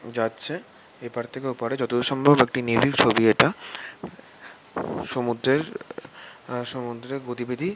যাচ্ছে এপার থেকে ওপারে যতদূর সম্ভব একটি নেভি -র ছবি ইটা সমুদ্রের সমুদ্রের গতিবিধি--